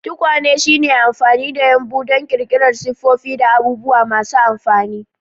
Tukwane shine amfani da yumbu don ƙirƙirar siffofi da abubuwa masu amfani.